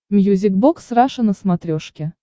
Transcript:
мьюзик бокс раша на смотрешке